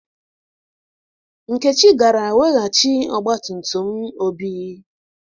Nkechi gara weghachi ọgba tum tum Obi.